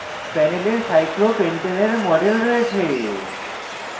panel cyclopentane cyclopentane we model রয়েছে